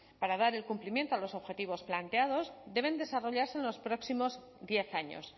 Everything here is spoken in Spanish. para dar el cumplimiento a los objetivos planteados debe desarrollarse en los próximos diez años